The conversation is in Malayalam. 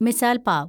മിസാൽ പാവ്